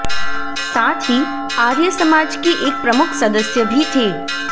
साथ ही आर्य समाज के एक प्रमुख सदस्य भी थे